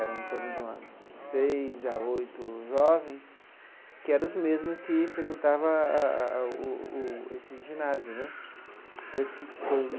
era em torno de umas seis a oito jovens, que era os mesmo que frequentavam a a a o o o esse ginásio né então esse.